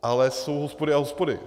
Ale jsou hospody a hospody.